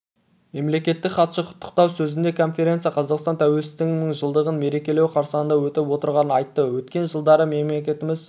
мемлекеттік хатшы құттықтау сөзінде конференция қазақстан тәуелсіздігінің жылдығын мерекелеу қарсаңында өтіп отырғанын айтты өткен жылдары мемлекетіміз